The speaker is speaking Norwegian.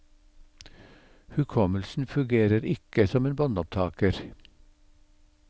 Hukommelsen fungerer ikke som en båndopptaker.